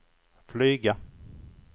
flyga